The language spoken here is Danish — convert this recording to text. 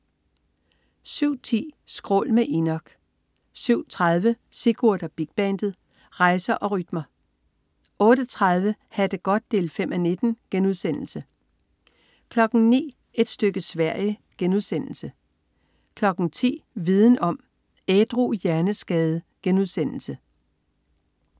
07.10 Skrål med Enok 07.30 Sigurd og Big Bandet. Rejser og rytmer 08.30 Ha' det godt 5:19* 09.00 Et stykke Sverige* 10.00 Viden om: Ædru hjerneskade*